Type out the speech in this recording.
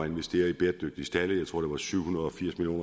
investere i bæredygtige stalde jeg tror syv hundrede og firs million